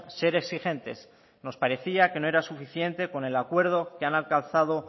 ser exigentes nos parecía que no era suficiente con el acuerdo que han alcanzado